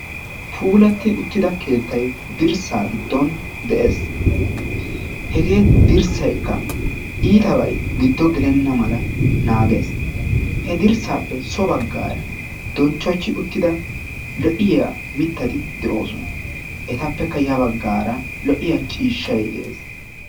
puullatti uttida keettay dirssaa giidon de"ees. Hegee dirsaykka ittabay giddo gelenna mala naagees. He dirssaappe so baggaara donchchochi uttida lo'iyaa mittati de"oosona. Ettappekka ya baggaara lo"iyaa ciishshay de"ees.